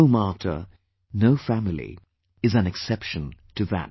No martyr, no family is an exception to that